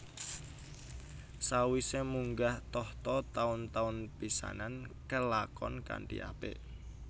Sawise munggah tahta taun taun pisanan kalakon kanthi apik